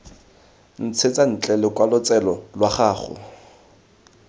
ntshetsa ntle lokwalotshelo lwa gago